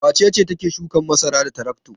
Wace ce take shukan masara da tarakto?